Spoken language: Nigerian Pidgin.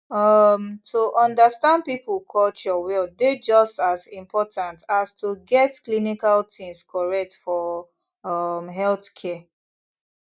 um to understand people culture well dey just as important as to get clinical things correct for um healthcare